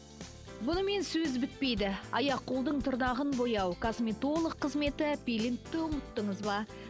бұнымен сөз бітпейді аяқ қолдың тырнағын бояу косметолог қызметі пилингті ұмыттыңыз ба